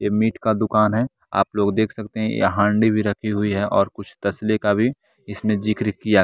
ये मीट का दुकान है आप लोग देख सकते हैं ये हांडी भी रखी हुई है और कुछ तसले का भी इसमें जिक्र किया।